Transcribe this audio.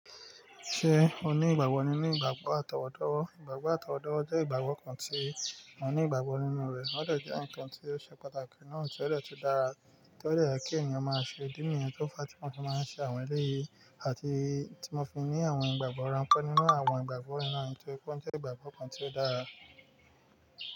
Ṣé o ní ìgbàgbọ́ ninu ìgbàgbọ́ àtọwọ́dọ́? Ìgbàgbọ́ àtọwọ́dọ́ jẹ́ ìgbàgbọ́ kan tí mo ní ìgbàgbọ́ nínú rẹ̀. Ó dè jẹ́ ǹkan tí ó ṣe pàtàkì náà tí ó dè tún dára tó dè ye kí ènìyàn máa ṣe ìdí nìyẹn to fa ti mo fi máa ń ṣe àwọn eléyìí àti tí mọ fi ń ní àwọn ìgbàgbọ́ ránpẹ́ nínú àwọn ìgbàgbọ́ yìí na, nitóri pé won je ìgbàgbọ́ kan tí ó dára.